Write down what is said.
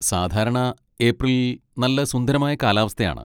സാധാരണ, ഏപ്രിലിൽ നല്ല സുന്ദരമായ കാലാവസ്ഥയാണ്.